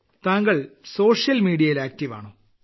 താങ്കൾ social media യിൽ active ആണോ